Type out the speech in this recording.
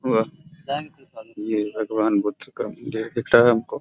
वह ये भगवान बुद्ध का देह दिख रहा है हमको |